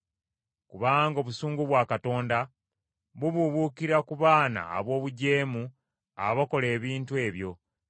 Kubanga obusungu bwa Katonda bubuubuukira ku baana ab’obujeemu abakola ebintu ebyo,